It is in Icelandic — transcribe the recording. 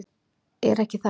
Er ekki það?